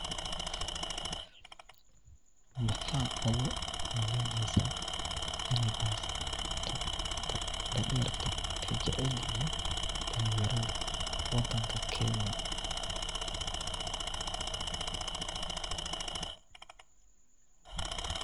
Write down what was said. Maxa ogu maleeneysa iney baasto dhadheerta eey jecelyihiin dhalin yaradha wadanka kenya